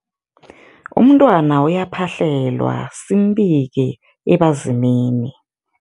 Umntwana uyaphahlelwa, simbike ebazimini.